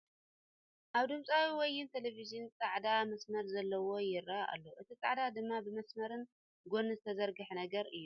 ኣብ ድምፂ ወያን ተለቬዥን ፃዕዳ መስመር ዘሎው ይርኣ ኣሎ ። እቲ ፃዕዳ ድማ ብ መስመር ን ጎኒ ዝተዘርግሐ ነገር እዩ ።